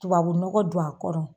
Tubabubu nɔgɔ don a kɔrɔ